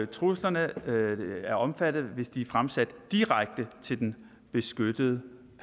truslerne er omfattet hvis de er fremsat direkte til den beskyttede